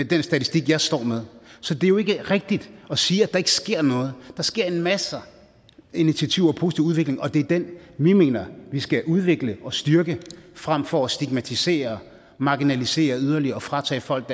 den statistik jeg står med så det er jo ikke rigtigt at sige at der ikke sker noget der sker en masse initiativer positiv udvikling og det er den vi mener at vi skal udvikle og styrke frem for at stigmatisere marginalisere yderligere og fratage folk